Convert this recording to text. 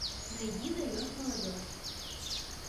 найди даешь молодежь